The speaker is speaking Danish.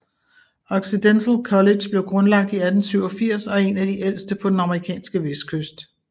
Occidental College blev grundlagt i 1887 og er en af de ældste på den amerikanske vestkyst